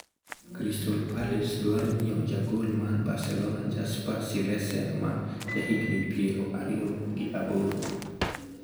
Crystal Palace dwaro nyiewo jagol mar Barcelona Jasper Cillesen ma ja higni piero ariyo gi aboro (AS).